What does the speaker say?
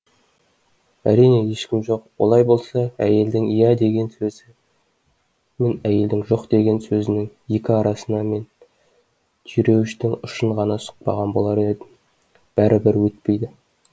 әрине ешкім жоқ олай болса әйелдің иә деген сөзі мен әйелдің жоқ деген сөзінің екі арасына мен түйреуіштің ұшын ғана сұқпаған болар едім бәрібір өтпейді